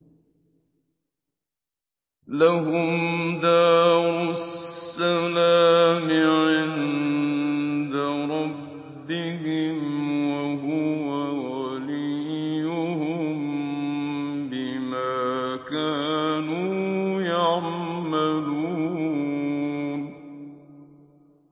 ۞ لَهُمْ دَارُ السَّلَامِ عِندَ رَبِّهِمْ ۖ وَهُوَ وَلِيُّهُم بِمَا كَانُوا يَعْمَلُونَ